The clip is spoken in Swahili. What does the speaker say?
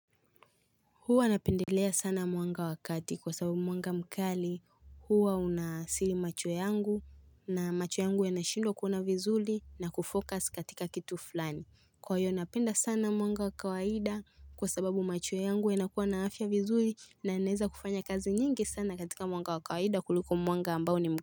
Huwa napendelea sana mwanga wa kati kwa sababu mwanga mkali huwa unaathiri macho yangu na macho yangu yanashindwa kuona vizuri na kufocus katika kitu fulani. Kwa hiyo napenda sana mwanga wa kawaida kwa sababu macho yangu yanakuwa na afya vizuri na naeza kufanya kazi nyingi sana katika mwanga wa kawaida kuliko mwanga ambao ni mkali.